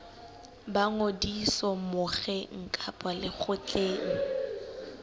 ba ngodiso mokgeng kapa lekgotleng